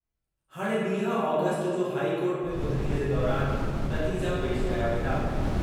हाणे वीह ऑगस्ट जो हाईकोर्ट में ॿुधणीअ जे दौरान नतीजा पेशि कया वेंदा।